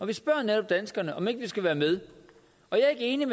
vi spørger netop danskerne om vi ikke skal være med jeg er ikke